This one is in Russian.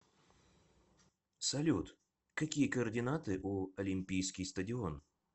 салют какие координаты у олимпийский стадион